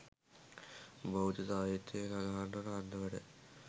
බෞද්ධ සාහිත්‍යයෙහි සඳහන් වන අන්දමට